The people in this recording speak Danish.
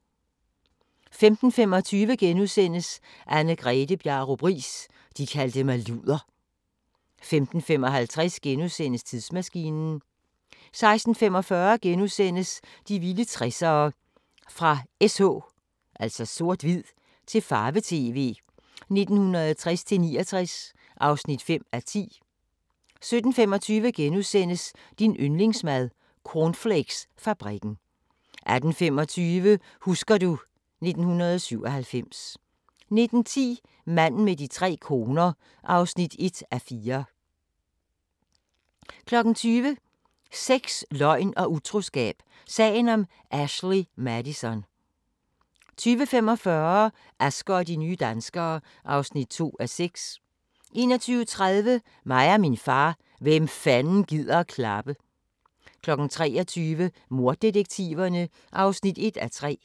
15:25: Anne-Grethe Bjarup Riis – de kaldte mig luder * 15:55: Tidsmaskinen * 16:45: De vilde 60'ere: Fra s/h til farve-tv 1960-69 (5:10)* 17:25: Din yndlingsmad: Cornflakesfabrikken * 18:25: Husker du ... 1997 19:10: Manden med de tre koner (1:4) 20:00: Sex, løgn og utroskab – sagen om Ashley Madison 20:45: Asger og de nye danskere (2:6) 21:30: Mig og min far – hvem fanden gider klappe? 23:00: Morddetektiverne (1:3)